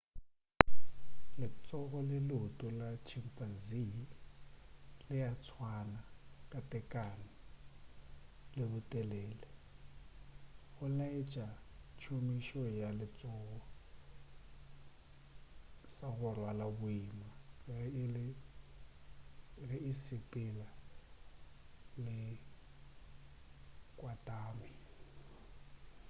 letsogo le leoto la chimpanzee le a swana ka tekano le botelele go laetša tšhomišo ya letsogo sa go rwala boima ge e sepela e kwatame